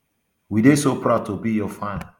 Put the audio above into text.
we dey so proud to be your fan